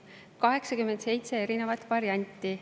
87 erinevat varianti.